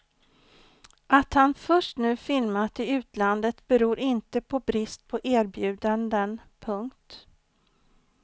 Att han först nu filmat i utlandet beror inte på brist på erbjudanden. punkt